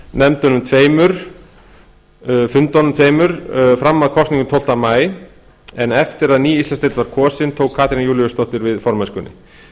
gegndi formennsku í þingmannafundunum tveimur fram að kosningum tólfta maí en eftir að ný íslandsdeild var kosin tók katrín júlíusdóttir við formennskunni